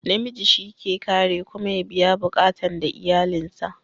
Na miji shi ke kare kuma ya biya buƙatan da iyalin sa